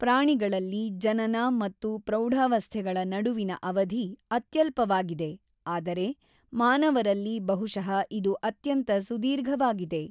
ಪ್ರಾಣಿಗಳಲ್ಲಿ ಜನನ ಮತ್ತು ಪ್ರೌಢಾವಸ್ಥೆಗಳ ನಡುವಿನ ಅವಧಿ ಅತ್ಯಲ್ಪವಾಗಿದೆ ಆದರೆ ಮಾನವರಲ್ಲಿ ಬಹುಶಃ ಇದು ಅತ್ಯಂತ ಸುದೀರ್ಘವಾಗಿದೆ.